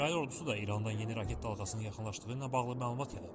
İsrail ordusu da İrandan yeni raket dalğasının yaxınlaşdığı ilə bağlı məlumat yayıb.